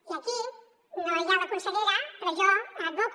i aquí no hi ha la consellera però jo advoco